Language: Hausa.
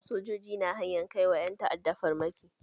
Sojoji na hanyan ka wa ƴan ta'adda farmaki.